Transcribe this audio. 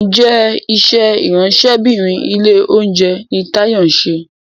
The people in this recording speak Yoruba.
Njé iṣé Ìráńṣẹ́bìnrin ilé-oúnjẹ ní Tayo nṣe?